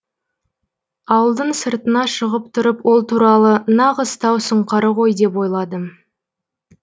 ауылдың сыртына шығып тұрып ол туралы нағыз тау сұңқары ғой деп ойладым